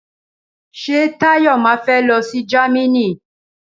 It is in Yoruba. Ṣé Táyọ̀ ma fé lọsí Jámínì?